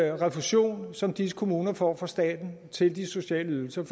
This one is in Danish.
eller refusion som disse kommuner får fra staten til de sociale ydelser